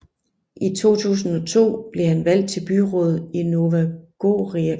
I 2002 blev han valgt til byrådet i Nova Gorica